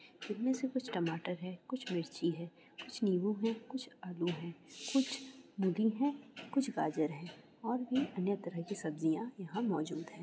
इनमे से कुछ टमाटर है कुछ मिर्ची है कुछ नीबू है कुछ आलू है कुछ गोभी है कुछ गाजर है और बी अन्य तरह की सब्ज़ियाँ यहाँ मौजूद है|